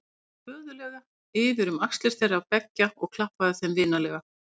Hann tók föðurlega yfir um axlir þeirra beggja og klappaði þeim vinalega.